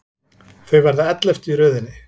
Þau verða elleftu í röðinni.